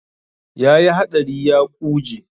Ya yi haɗari ya ƙuje.